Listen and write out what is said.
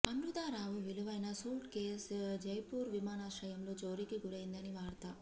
అమృతారావు విలువైన suitcase Jaipur విమానాశ్రయంలో చోరికి గురైంది అని వార్త